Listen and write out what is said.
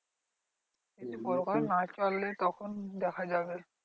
পরকালে না চলে তখন দেখা যাবে।